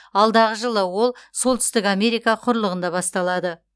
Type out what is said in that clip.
алдағы жылы ол солтүстік америка құрлығында басталады